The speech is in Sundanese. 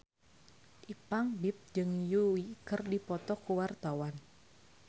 Ipank BIP jeung Yui keur dipoto ku wartawan